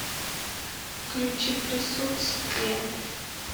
включи присутствие